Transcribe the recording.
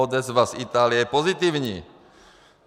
Odezva z Itálie pozitivní.